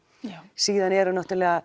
síðan eru náttúrulega